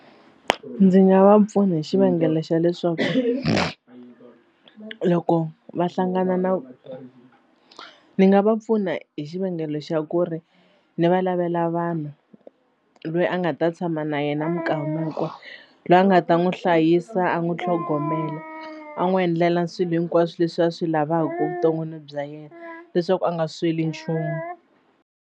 Ndzi nga va pfuna hi xivangelo xa leswaku loko va hlangana na ni nga va pfuna hi xivangelo xa ku ri ni va lavela vanhu loyi a nga ta tshama na yena minkama hinkwayo loyi a nga ta n'wi hlayisa a n'wi tlhogomela a n'wi endlela swilo hinkwaswo leswi a swi lavaka evuton'wini bya yena leswaku a nga sweli nchumu.